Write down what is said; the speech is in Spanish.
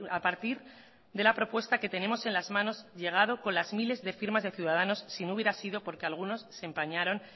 a partir de la propuesta que tenemos en las manos llegado con las miles de firmas de ciudadanos si no hubiera sido porque algunos se empañaron